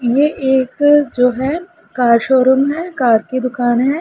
एक जो है कार शोरूम में कार की दुकान है।